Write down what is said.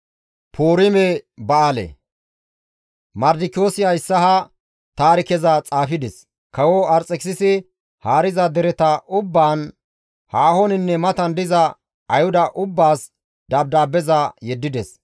Mardikiyoosi hayssa ha taarikeza xaafides; kawo Arxekisisi haariza dereta ubbaan, haahoninne matan diza Ayhuda ubbaas dabdaabbeza yeddides.